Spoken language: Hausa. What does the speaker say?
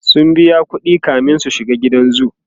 sun biya ƙuɗi kamin su shiga gidan zoo